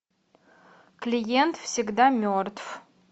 клиент всегда мертв